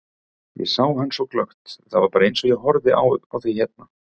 Ég sá hann svo glöggt, það var bara eins og ég horfi á þig hérna.